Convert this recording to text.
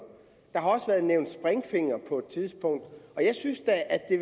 springfinger på et tidspunkt jeg synes da at det